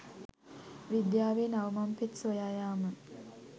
විද්‍යාවේ නව මංපෙත් සොයා යාම